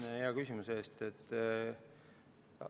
Aitäh hea küsimuse eest!